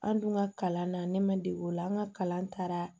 An dun ka kalan na ne ma dege ola an ka kalan taara